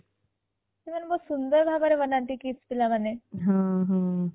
ସେମାନେ ବହୁତ ସୁନ୍ଦର ଭାବରେ ବନାନ୍ତି KIIS ପିଲା ମାନେ